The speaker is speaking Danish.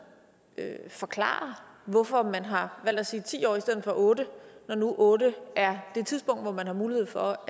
forklare hvorfor man har valgt at sige ti år i stedet for otte når nu otte er det tidspunkt hvor man har mulighed for